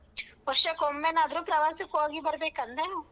ವರ್ಷಕ್ಕೊಮ್ಮೆನಾದ್ರೂ ಪ್ರವಾಸಕ್ ಹೋಗಿ ಬರ್ಬೇಕ್ ಅಂದೆ.